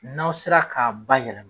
N'aw sera k'a bayɛlɛ